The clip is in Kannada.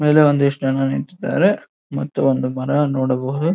ಮೇಲೆ ಒಂದಿಷ್ಟು ಜನ ನಿಂತಿದ್ದಾರೆ ಮತ್ತು ಅವನ ಮನೆಯನ್ನು ನೋಡಬಹುದು.